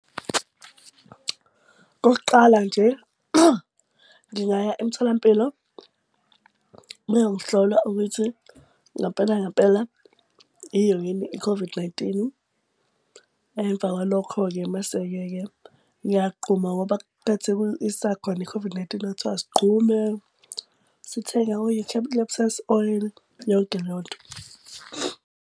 Okokuqala nje ngingaya emtholampilo bayongihlola ukuthi ngampela ngampela iyo yini i-COVID-19. Emva kwalokho-ke mase-ke ke ngiyagquma ngoba isakhona i-COVID-19 kwathiwa sigxume, sithenga o-eucalyptus oil yonke leyo nto.